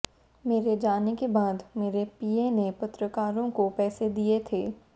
मेरे जाने के बाद मेरे पीए ने पत्रकारों को पैसे दिए थे